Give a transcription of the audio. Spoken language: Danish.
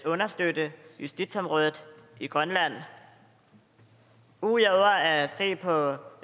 understøtte justitsområdet i grønland ud over at se på